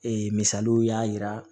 Ee misaliw y'a yira